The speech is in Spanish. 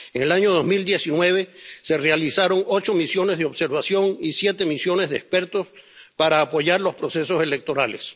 En el año 2019 se realizaron ocho misiones de observación y siete misiones de expertos para apoyar los procesos electorales.